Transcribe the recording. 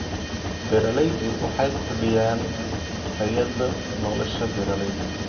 Beeraleydu waxay kordhiyaan tayada nolosha beeralayda.